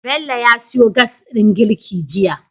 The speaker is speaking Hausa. Bello ya siyo Gas din girki jiya